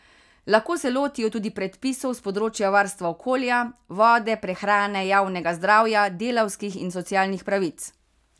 Lahko se lotijo tudi predpisov s področja varstva okolja, vode, prehrane, javnega zdravja, delavskih in socialnih pravic.